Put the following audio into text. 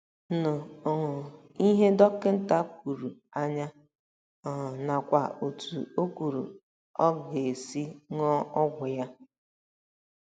nụ um ihe dọkịta kwuru anya um nakwa otú o kwuru ọ ga - esi ṅụọ ọgwụ ya